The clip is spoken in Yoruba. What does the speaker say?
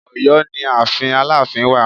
Ọ̀yọ́ ni ààfin Aláàfin wà